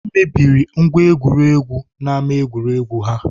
Ha mebiri ngwa egwuregwu n'ámá egwuregwu ha.